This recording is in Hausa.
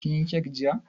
Kin yi kek jiya?